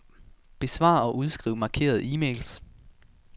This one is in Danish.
Besvar og udskriv markerede e-mails.